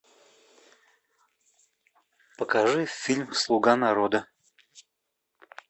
покажи фильм слуга народа